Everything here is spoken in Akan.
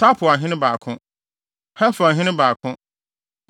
Tapuahene 2 baako 1 Heferhene 2 baako 1